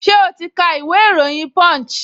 Ṣẹ́ o ti ka ìwé ìròyìn punch?